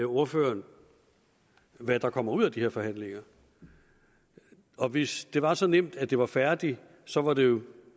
ordføreren hvad der kommer ud af de forhandlinger hvis det var så nemt at de var færdige så var det jo